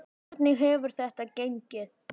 Hvernig hefur þetta gengið?